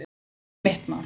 Ekki mitt mál